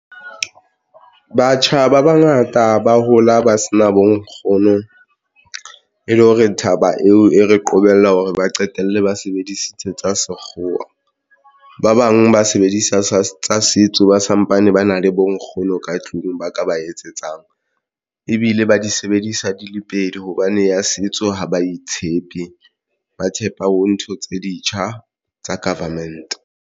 Batjha ba bangata ba hola ba sena bo nkgono e le hore thaba eo e re qobella hore ba qetelle ba sebedisitse tsa sekgowa. Ba bang ba sebedisa sa tsa setso ba sampane ba na le bo nkgono ka tlung, ba ka ba etsetsang ebile ba di sebedisa di le pedi hobane ya setso ha ba itshepe, ba tshepa ho ntho tse ditjha tsa government.